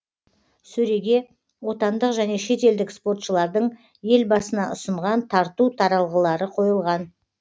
сөреге отандық және шетелдік спортшылардың елбасына ұсынған тарту таралғылары қойылған